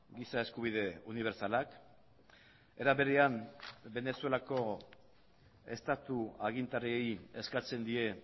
giza eskubide unibertsalak era berean venezuelako estatu agintariei eskatzen die